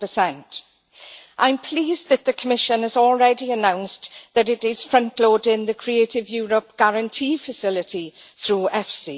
4. I am pleased that the Commission has already announced that it is frontloading the Creative Europe Guarantee Facility through EFSI.